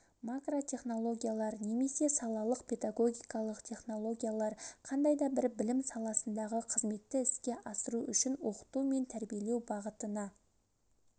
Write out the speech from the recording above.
макротехнологиялар немесе салалық педагогикалық технологиялар қандай да бір білім саласындағы қызметті іске асыру үшін оқыту мен тәрбиелеу бағытына